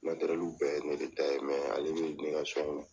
bɛɛ ye ne de ta ye mɛ ale bɛ ne ka